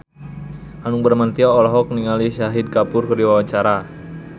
Hanung Bramantyo olohok ningali Shahid Kapoor keur diwawancara